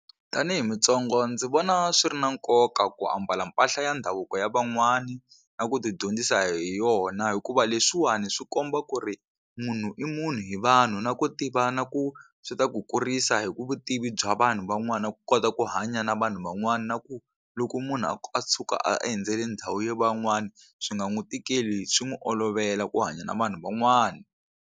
Tanihi mutsonga ndzi vona swi ri na nkoka ku ambala mpahla ya ndhavuko ya van'wani na ku ti dyondzisa hi yona hikuva leswiwani swi komba ku ri munhu i munhu hi vanhu na ku tiva na ku swi ta ku kurisa hi ku vutivi bya vanhu van'wana ku kota ku hanya na vanhu van'wana na ku loko munhu a tshuka a endzele ndhawu ya van'wana swi nga n'wi tikeli swi n'wi olovela ku hanya na vanhu van'wana.